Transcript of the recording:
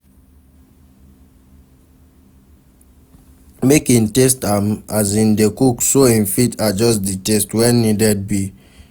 Make in taste am as in de cook so in fit adjust di taste when need be